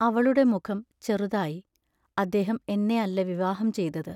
അവളുടെ മുഖം ചെറുതായി അദ്ദേഹം എന്നെ അല്ല വിവാഹം ചെയ്തത്.